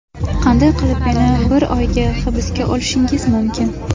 Qanday qilib meni bir oyga hibsga olishingiz mumkin?